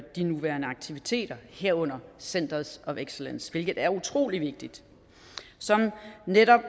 at de nuværende aktiviteter herunder centers of excellence hvilket er utrolig vigtigt som netop